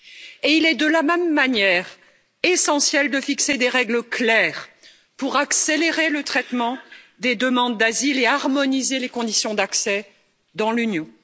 Et il est, de la même manière, essentiel de fixer des règles claires pour accélérer le traitement des demandes d'asile et harmoniser les conditions d'accès dans l'Union.